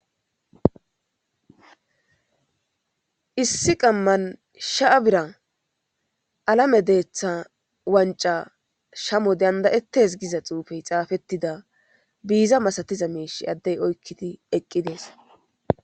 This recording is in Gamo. issi qamman sha'a bira alame deeththa wanca shamo dandayettes giza xuufey xaafettida biiza masatiza meishi addey oykkidi eqqi dees